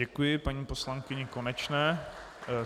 Děkuji paní poslankyni Konečné.